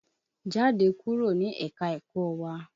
Jáde kúrò ní ẹ̀ka-ẹ̀kọ́ wá!